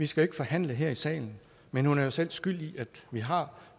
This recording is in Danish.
skal forhandle her i salen men hun er jo selv skyld i at vi har